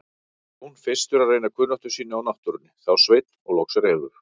Jón fyrstur að reyna kunnáttu sína á náttúrunni, þá Sveinn og loks Refur.